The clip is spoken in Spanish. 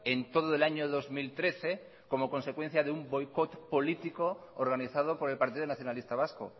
en todo el año dos mil trece como consecuencia de un boicot político organizado por el partido nacionalista vasco